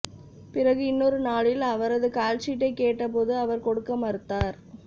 பிறகு இன்னொரு நாளில் அவரது கால்ஷீட்டை கேட்டபோது அவர் கொடுக்க மறுத்தார்